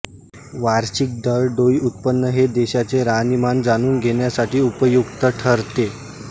वार्षिक दरडोई उत्पन हे देशाचे राहणीमान जाणून घेण्यासाठी उपयुक्त ठरते